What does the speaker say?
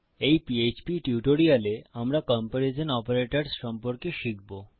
এই পিএইচপি টিউটোরিয়ালে আমরা কম্পেরিজন তুলনামূলক অপারেটরস সম্পর্কে শিখবো